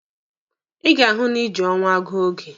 Ị ga-ahụ na ị ji ọnwa gụọ oge!